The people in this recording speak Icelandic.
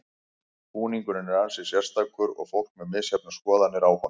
Búningurinn er ansi sérstakur og fólk með misjafnar skoðanir á honum.